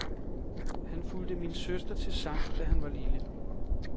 Han fulgte min søster til sang, da han var lille.